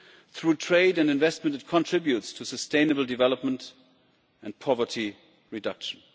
Through trade and investment it contributes to sustainable development and poverty reduction.